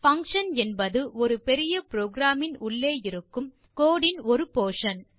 function என்பது ஒரு பெரிய programமின் உள்ளே இருக்கும் கோடு இன் ஒரு போர்ஷன்